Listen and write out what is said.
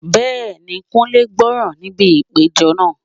Bẹ́ẹ̀ni, Kunle gbọ́ràn níbi ìpéjọ náà.